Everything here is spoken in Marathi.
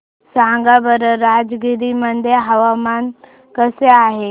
सांगा बरं राजगीर मध्ये हवामान कसे आहे